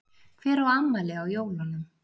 Hver á afmæli á jólunum?